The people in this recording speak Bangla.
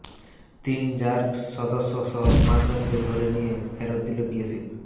তিন র্যাব সদস্যসহ পাঁচজনকে ধরে নিয়ে ফেরত দিল বিএসএফ